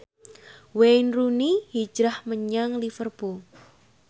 Wayne Rooney hijrah menyang Liverpool